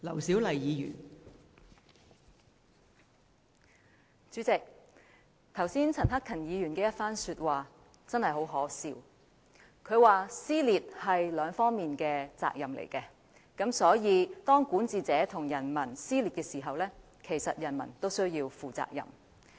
代理主席，剛才陳克勤議員的發言實在很可笑，他說撕裂是雙方的責任，所以當管治者與人民之間出現撕裂，其實人民也需要負上責任。